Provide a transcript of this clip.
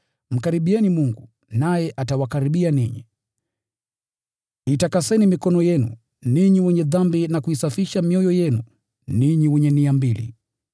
Mkaribieni Mungu, naye atawakaribia ninyi. Itakaseni mikono yenu ninyi wenye dhambi, na kuisafisha mioyo yenu ninyi wenye nia mbili.